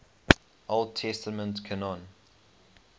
old testament canon